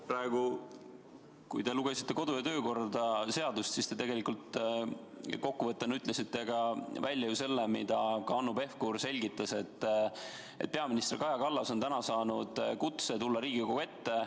Praegu, kui te lugesite ette kodu- ja töökorra seaduse punkti, siis te tegelikult ütlesite ka välja selle, mida Hanno Pevkur samuti selgitas: et peaminister Kaja Kallas on täna saanud kutse tulla Riigikogu ette.